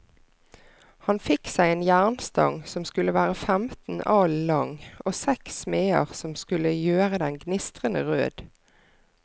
Han fikk seg en jernstang som skulle være femten alen lang, og seks smeder som skulle gjøre den gnistrende rød.